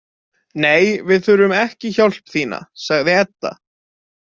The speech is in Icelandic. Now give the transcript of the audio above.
Nei, við þurfum ekki hjálp þína, sagði Edda.